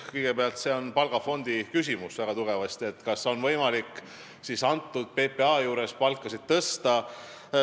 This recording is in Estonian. Kõigepealt, see, kas on võimalik PPA-s palkasid tõsta, on väga tugevasti palgafondi küsimus.